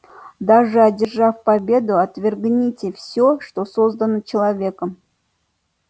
даже одержав победу отвергните все что создано человеком